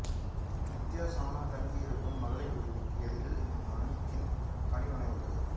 நித்யா சோனா தங்கி இருக்கும் மகளிர் விடுதிக்கு எதிரில் மாணிகின் பணிமனை உள்ளது